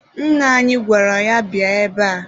Nna anyị gwara ya, bịa ebe a!